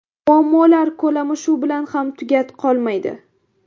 Muammolar ko‘lami shu bilan ham tugat qolmaydi.